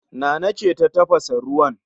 Nana ce ta tafasa ruwan